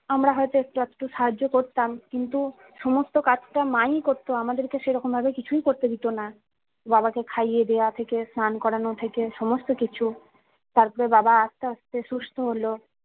আমরা হয়তো একটু একটু সাহায্য করতাম কিন্তু সমস্ত কাজটা মা ই করতো আমাদেরকে সেরকম ভাবে কিছুই করতে দিতোনা বাবাকে খাইয়ে দেওয়া থাকে স্নান করানো থেকে সমস্ত কিছু তারপরে বাবা আস্তে আস্তে সুস্থ হলো